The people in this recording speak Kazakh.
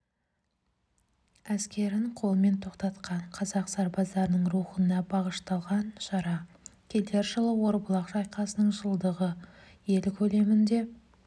әскерін қолмен тоқтатқан қазақ сарбаздарының рухына бағышталған шара келер жылы орбұлақ шайқасының жылдығы ел көлемінде